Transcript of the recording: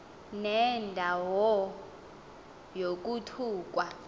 nenda wo yokuthukwa